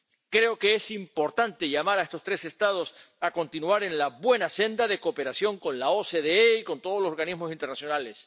Creo que es importante llamar a estos tres Estados a continuar en la buena senda de cooperación con la OCDE y con todos los organismos internacionales.